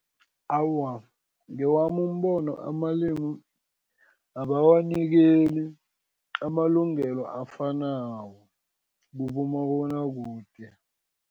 Awa, ngewami umbono amalimu, abawanikeli amalungelo afanako, kubomabonakude.